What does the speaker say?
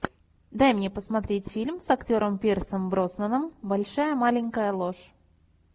дай мне посмотреть фильм с актером пирсом броснаном большая маленькая ложь